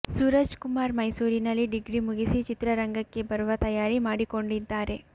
ಸೂರಜ್ ಕುಮಾರ್ ಮೈಸೂರಿನಲ್ಲಿ ಡಿಗ್ರಿ ಮುಗಿಸಿ ಚಿತ್ರರಂಗಕ್ಕೆ ಬರುವ ತಯಾರಿ ಮಾಡಿಕೊಂಡಿದ್ದಾರೆ